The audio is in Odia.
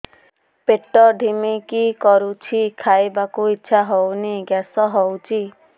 ପେଟ ଢିମିକି ରହୁଛି ଖାଇବାକୁ ଇଛା ହଉନି ଗ୍ୟାସ ହଉଚି